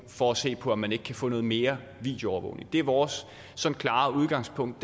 for at se på om man ikke kan få noget mere videoovervågning det er vores klare udgangspunkt